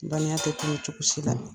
balenya te tunu cogosi la.